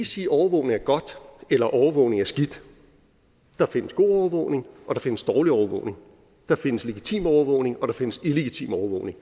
sige at overvågning er godt eller at overvågning er skidt der findes god overvågning og der findes dårlig overvågning der findes legitim overvågning og der findes illegitim overvågning